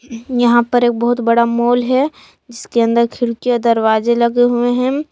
यहां पर एक बहुत बड़ा मॉल है जिसके अंदर खिड़की दरवाजे लगे हुए हैं।